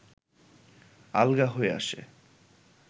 আলগা হয়ে আসে